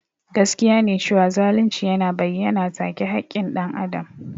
Gaskiya ne cewa zalunci yana bayyana take haƙƙin dan Adam.